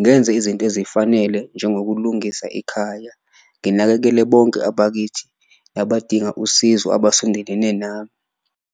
ngenze izinto ezifanele njengokulungisa ekhaya, nginakekele bonke abakithi abadinga usizo abasondelene nami.